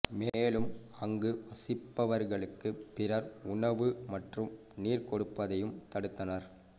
மேலும் அங்கு வசிப்பவர்களுக்கு பிறர் உணவு மற்றும் நீர் கொடுப்பதையும் தடுத்தனர்